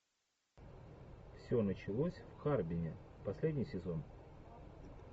все началось в харбине последний сезон